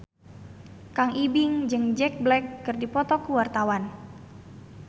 Kang Ibing jeung Jack Black keur dipoto ku wartawan